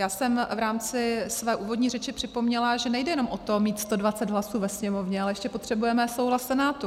Já jsem v rámci své úvodní řeči připomněla, že nejde jenom o to mít 120 hlasů ve Sněmovně, ale ještě potřebujeme souhlas Senátu.